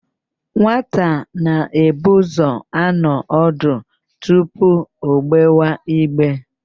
Nwata na-ebu ụzọ anọ ọdụ tupu o gbewa igbe.